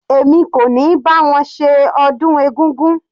Èmi kò ní bá wọn ṣe ọdún egúngún.